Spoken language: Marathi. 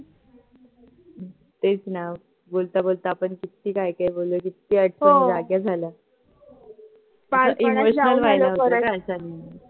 तेच ना बोलता बोलता आपण किती काय काय बोललो किती आठवणी जाग्या झाल्या अस emotional व्हायला होत ग आठवणीने